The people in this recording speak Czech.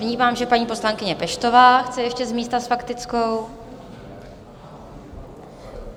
Vnímám, že paní poslankyně Peštová chce ještě z místa s faktickou.